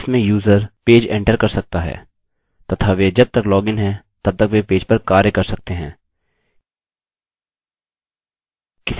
यहाँ हम सेशन बनायेंगे जिसमें यूजर पेज एंटर कर सकता है तथा वे जब तक लॉगिन हैं तब तक वे पेज पर कार्य कर सकते हैं